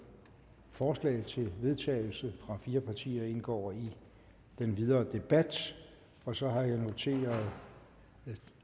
forslag til vedtagelse fra fire partier indgår i den videre debat så har jeg noteret